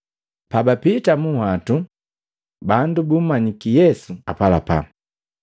Pabapita munhwatu, bandu bumanyiki Yesu apalapa.